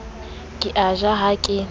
ke a ja ha ke